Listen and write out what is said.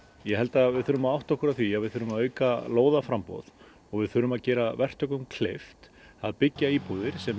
ég held að við þurfum að átta okkur á því að við þurfum að auka lóðaframboð og við þurfum að gera verktökum kleift að byggja íbúðir sem